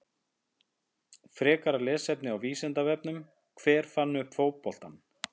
Frekara lesefni á Vísindavefnum: Hver fann upp fótboltann?